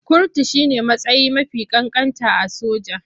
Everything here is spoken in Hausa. Kurtu shi ne matsayi mafi ƙanƙanta a soja.